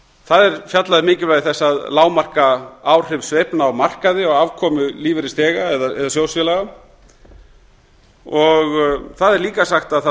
það er fjallað um mikilvægi þess að lágmarka áhrif sveiflna á markaði og afkomu lífeyrisþega eða sjóðsfélaga það er líka sagt að það